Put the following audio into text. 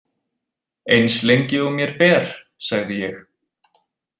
Eins lengi og mér ber, sagði ég.